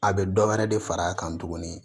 A bɛ dɔ wɛrɛ de far'a kan tuguni